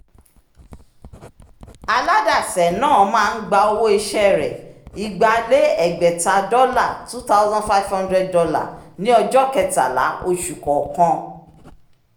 aládàsẹ̀ náà máa ń gba owó iṣẹ́ rẹ igba lé egbeta dọ́là two thousand five hundred dollar ní ọjọ́ kẹtàlá oṣù kọọkan